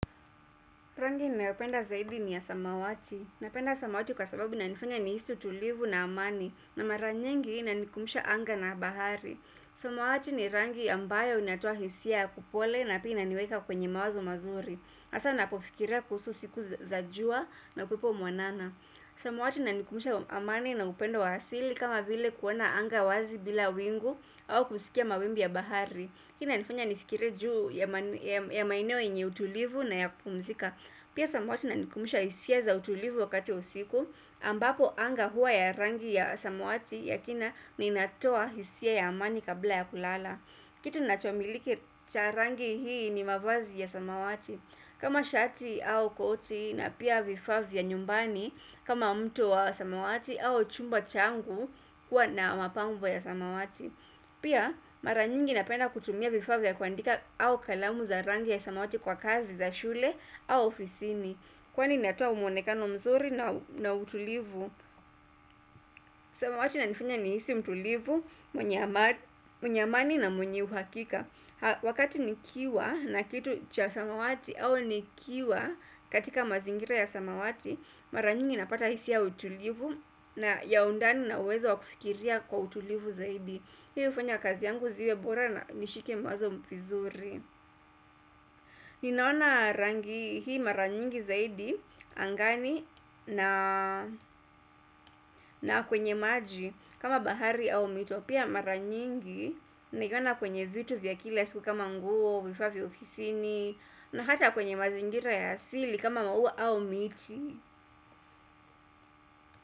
Rangi nayopenda zaidi ni ya samawati. Napenda samawati kwa sababu inanifanya nihisi utulivu na amani. Na mara nyingi inanikumbusha anga na bahari. Samawati ni rangi ambayo inatoa hisia ya kupole na pia inaniweka kwenye mawazo mazuri. Hasa napofikiria kuhusu siku za jua na upepo mwanana. Samawati inanikubusha amani na upendo wa asili kama vile kuona anga wazi bila wingu au kusikia mawimbi ya bahari. Hii inanifanya nifikire juu ya maeneo yenye utulivu na ya kupumzika pia samawati inanikumibusha hisia za utulivu wakati wa usiku ambapo anga hua ya rangi ya samawati yakina na ina toa hisia ya amani kabla ya kulala kitu nachomiliki cha rangi hii ni mavazi ya samawati kama shati au koti na pia vifaa vya nyumbani kama mto wa samawati au chumba changu kwa na mapambo ya samawati pia mara nyingi napenda kutumia vifaa vya kuandika au kalamu za rangi ya samawati kwa kazi za shule au ofisini kwani inatoa mwonekano mzuri na utulivu samawati inanifanya ni hisi utulivu mwenye amani na mwenye uhakika wakati nikiwa na kitu cha samawati au nikiwa katika mazingira ya samawati mara nyingi napata hisia ya utulivu na ya undani na uwezo wa kufikiria kwa utulivu zaidi hii hufanya kazi yangu ziwe bora na nishike mawazo vizuri ninaona rangi hii mara nyingi zaidi angani na na kwenye maji kama bahari au mito pia mara nyingi niliona kwenye vitu vya kila siku kama nguo vifaa vya ofisini na hata kwenye mazingira ya sili kama maua au miti.